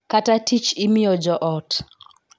Ka tich imiyo jo ot